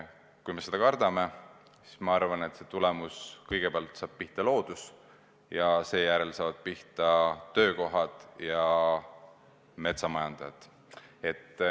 Kui me seda kardame, siis kõigepealt saab pihta loodus ja seejärel saavad pihta töökohad ja metsamajandajad.